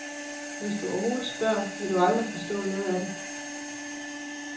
Hvis du overhovedet spørger, vil du aldrig forstå noget af det.